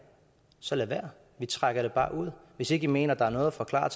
så lad være vi trækker det bare ud hvis ikke i mener der er noget at forklare